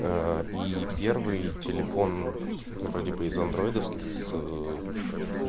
и первый телефон вроде бы из андроидовских с